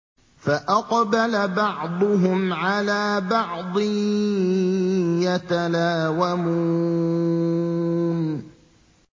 فَأَقْبَلَ بَعْضُهُمْ عَلَىٰ بَعْضٍ يَتَلَاوَمُونَ